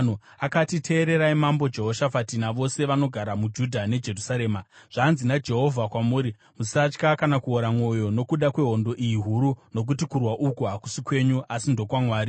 Akati, “Teererai, Mambo Jehoshafati navose vanogara muJudha neJerusarema! Zvanzi naJehovha kwamuri, ‘Musatya kana kuora mwoyo nokuda kwehondo iyi huru, nokuti kurwa uku hakusi kwenyu, asi ndokwaMwari.